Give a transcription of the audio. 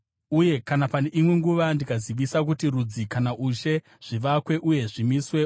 Uye kana pane imwe nguva ndikazivisa kuti rudzi kana ushe zvivakwe uye zvisimwe,